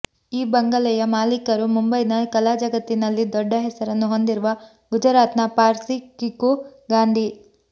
ಈ ಬಂಗಲೆಯ ಮಾಲೀಕರು ಮುಂಬೈನ ಕಲಾ ಜಗತ್ತಿನಲ್ಲಿ ದೊಡ್ಡ ಹೆಸರನ್ನು ಹೊಂದಿರುವ ಗುಜರಾತ್ನ ಪಾರ್ಸಿ ಕಿಕು ಗಾಂಧಿ